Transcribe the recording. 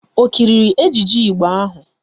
Ọ kiriri ejije Igbo ahụ?